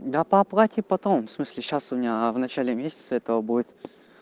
да по оплате потом в смысле сейчас у меня в начале месяца этого будет